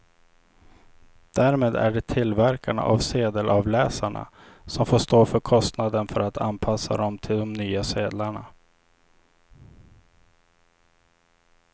Därmed är det tillverkarna av sedelavläsarna som får stå för kostnaden för att anpassa dem till de nya sedlarna.